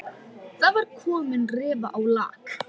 Það var komin rifa á lak.